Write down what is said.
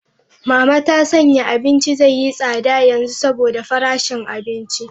Mama ta sanya abinci zai yi tsada yanzu saboda farashin abinci.